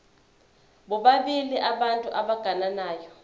bobabili abantu abagananayo